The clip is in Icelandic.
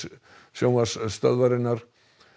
sjónvarpsstöðvarinnar